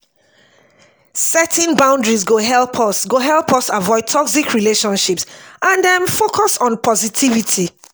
setting boundaries go help us go help us avoid toxic relationships and um focus on positivity.